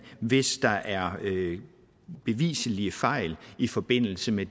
hvis der er beviselige fejl i forbindelse med